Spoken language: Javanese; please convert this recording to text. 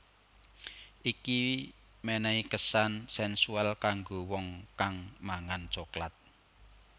Iki menehi kesan sensual kanggo wong kang mangan coklat